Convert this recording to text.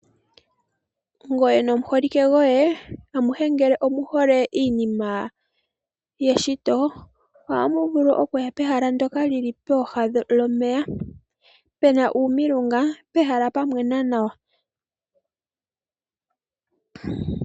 Ngoye nomuholike goye amuhe ngele omuhole iinima yeshito, ohamu vulu okuya pehala ndoka li li pooha lomeya. Pena uumilunga, pehala pwa mwena nawa.